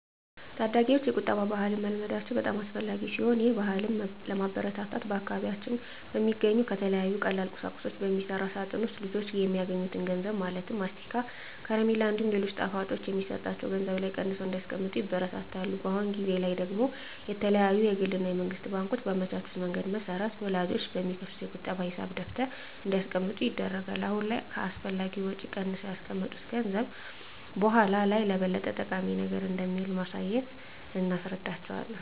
ታዳጊወች የቁጠባ ባህልን መልመዳቸው በጣም አስፈላጊ ሲሆን ይህን ባህልም ለማበረታታት በአካባቢያችን በሚገኙ ከተለያዩ ቀላል ቁሳቁሶች በሚሰራ ሳጥን ውስጥ ልጆች የሚያገኙትን ገንዘብ ማለትም ለማስቲካ፣ ከረሜላ እንዲሁም ሌሎች ጣፋጮች የሚሰጣቸው ገንዘብ ላይ ቀንሰው እንዲያስቀምጡ ይበረታታሉ። አሁን ጊዜ ላይ ደግሞ የተለያዩ የግል እና የመንግስት ባንኮች ባመቻቹት መንገድ መሰረት ወላጆች በሚከፍቱት የቁጠባ ሂሳብ ደብተር እንዲያስቀምጡ ይደረጋል። አሁን ላይ ከአላስፈላጊ ወጪ ቀንሰው ያስቀመጡት ገንዘብ በኃላ ላይ ለበለጠ ጠቃሚ ነገር እንደሚውል በማሳየት እናስረዳቸዋለን።